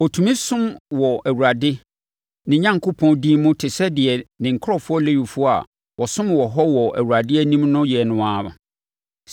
ɔtumi som wɔ Awurade, ne Onyankopɔn, din mu te sɛ deɛ ne nkurɔfoɔ Lewifoɔ a wɔsom wɔ hɔ wɔ Awurade anim no yɛ no ara.